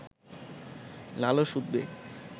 লালস উদ্বেগ